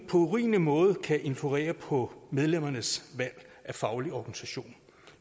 urimelig måde kan influere på medlemmernes valg af faglig organisation